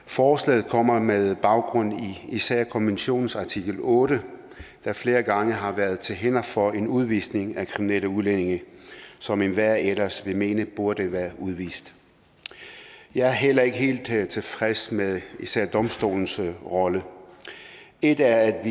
forslaget kommer med baggrund i især konventionens artikel otte der flere gange har været til hinder for en udvisning af kriminelle udlændinge som enhver ellers ville mene burde være udvist jeg er heller ikke helt tilfreds med især domstolens rolle et er at